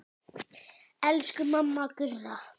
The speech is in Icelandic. Elsku mamma Gurra.